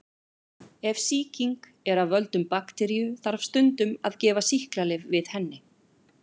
Ef sýkingin er af völdum bakteríu þarf stundum að gefa sýklalyf við henni.